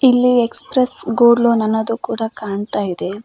ಇಲ್ಲಿ express gold loan ಅನ್ನೋದು ಕೂಡ ಕಾಣ್ತಾಯಿದೆ.